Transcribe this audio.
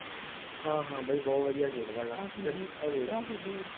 ਹਾਂ ਹਾਂ ਬਾਈ ਬਹੁਤ ਵਧੀਆ ਖੇਡਦਾ ਹੈਗਾ,